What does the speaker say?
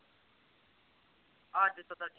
ਅੱਜ ਤਾਂ